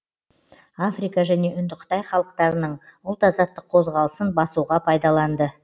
африка және үндіқытай халықтарының ұлт азаттық қозғалысын басуға пайдаланды